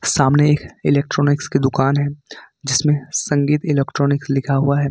सामने एक इलेक्ट्रॉनिक्स की दुकान है जिसमें संगीत इलेक्ट्रॉनिक्स लिखा हुआ है।